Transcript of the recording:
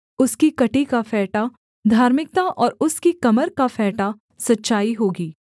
उसकी कमर का फेंटा धार्मिकता और उसकी कमर का फेंटा सच्चाई होगी